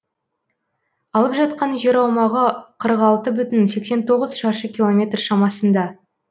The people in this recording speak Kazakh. алып жатқан жер аумағы қырық алты бүтін сексен тоғыз шаршы километр шамасында